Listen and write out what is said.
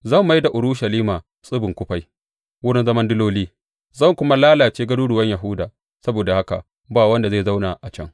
Zan mai da Urushalima tsibin kufai, wurin zaman diloli; zan kuma lalace garuruwan Yahuda saboda haka ba wanda zai zauna a can.